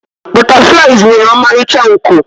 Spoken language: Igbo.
butterflies nwere ọmarịcha nku